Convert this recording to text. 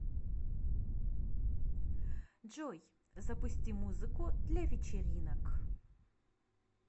джой запусти музыку для вечеринок